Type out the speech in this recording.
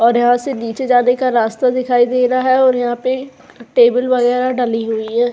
और यहां से नीचे जाने का रास्ता दिखाई दे रहा है और यहाँ पे टेबल वागेरा डली हुई है।